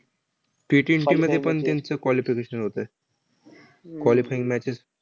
Ttwenty मध्ये पण त्यांचं qualification होतंय. qualifying matches